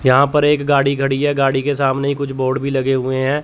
यहां पर एक गाड़ी खड़ी है गाड़ी के सामने कुछ बोर्ड भी लगे हुए हैं।